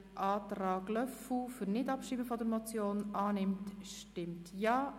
Wer die Motion nicht abschreiben will, stimmt Ja,